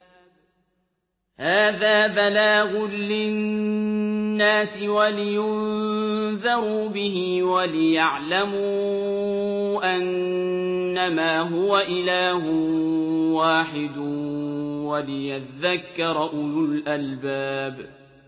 هَٰذَا بَلَاغٌ لِّلنَّاسِ وَلِيُنذَرُوا بِهِ وَلِيَعْلَمُوا أَنَّمَا هُوَ إِلَٰهٌ وَاحِدٌ وَلِيَذَّكَّرَ أُولُو الْأَلْبَابِ